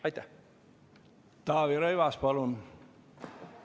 Taavi Rõivas, palun!